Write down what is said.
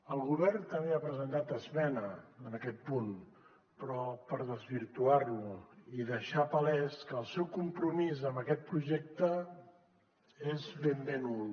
el govern també ha presentat esmena en aquest punt però per desvirtuar lo i deixar palès que el seu compromís amb aquest projecte és ben bé nul